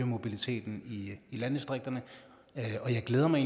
mobiliteten i landdistrikterne og jeg glæder mig